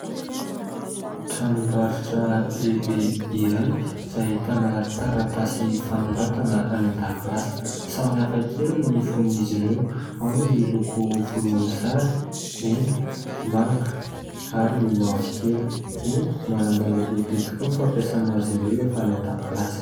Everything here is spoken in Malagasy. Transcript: Tranombarotra lehibe iray izay ahitana taratasy fanoratana any an-dakilasy samihafa kely ny fonon'izy ireo ao no miloko volomboasary mena manga ary mavokely. Eny manan-danja lehibe tokoa ny fampiasana azy ireo rehefa any an-dakilasy.